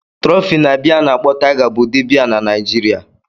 Trophy na biya ana akpo Tiger bụ ụdị biya na Naijiria.